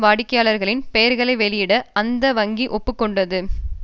வாடிக்கையாளர்களின் பெயர்களை வெளியிட அந்த வங்கி ஒப்பு கொண்டது